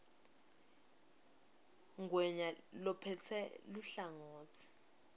ngwenya lophetse luhlangotsi